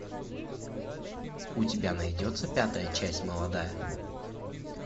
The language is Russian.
у тебя найдется пятая часть молодая